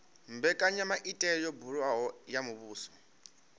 mbekanyamaitele yo buliwaho ya muvhuso